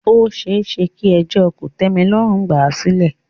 Ó ṣeéṣe kí ẹjọ́ kòtẹ́milọ́rùn gbà à sílẹ̀.